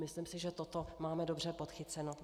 Myslím si, že toto máme dobře podchyceno.